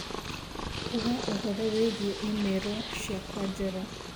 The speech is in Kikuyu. ũga ũhoro wĩgĩĩ i-mīrū ciakwa njerũ.